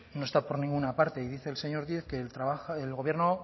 no está por ninguna parte y dice el señor díez que el gobierno